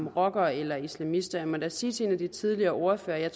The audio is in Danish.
er rocker eller islamist jeg må da sige til en af de tidligere ordførere at jeg